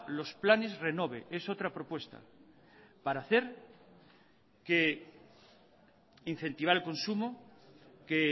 los planes renove es otra propuesta para hacer que incentivar el consumo que